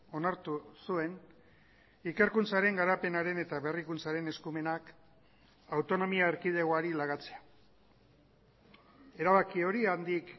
onartu zuen ikerkuntzaren garapenaren eta berrikuntzaren eskumenak autonomia erkidegoari lagatzea erabaki hori handik